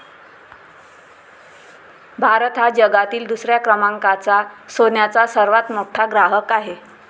भारत हा जगातील दुसऱ्या क्रमांकाचा सोन्याचा सर्वात मोठा ग्राहक आहे.